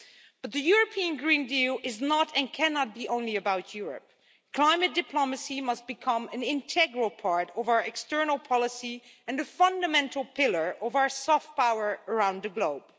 But the European Green Deal is not and cannot be only about Europe climate diplomacy must become an integral part of our external policy and a fundamental pillar of our soft power around the globe.